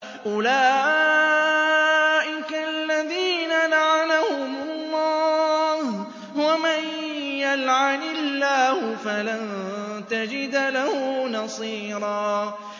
أُولَٰئِكَ الَّذِينَ لَعَنَهُمُ اللَّهُ ۖ وَمَن يَلْعَنِ اللَّهُ فَلَن تَجِدَ لَهُ نَصِيرًا